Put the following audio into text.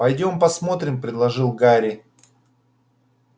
пойдём посмотрим предложил гарри